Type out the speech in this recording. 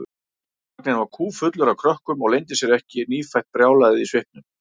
Vagninn var kúffullur af krökkum og leyndi sér ekki nýfætt brjálæðið í svipnum.